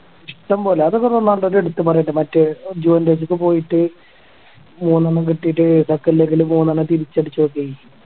ഇഷ്ടംപോലെ അതൊക്കെ റൊണാൾഡോടെ എടുത്തു പറയേണ്ട മറ്റേ ഒക്കെ പോയിട്ട് മൂന്നെണ്ണം കിട്ടീട്ട് deccan leg ല് മൂന്നെണ്ണം തിരിച്ചടിച്ചതൊക്കെയെ